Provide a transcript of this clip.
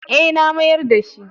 E, na mayar da shi.